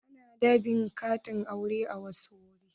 Ana dab'in katin auren a wasu wurare.